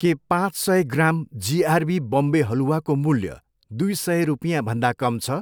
के पाँच सय ग्राम जिआरबी बम्बे हलुवाको मूल्य दुई सय रुपियाँभन्दा कम छ?